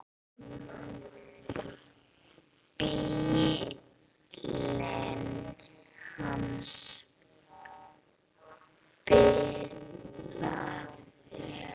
Bíllinn hans bilaði.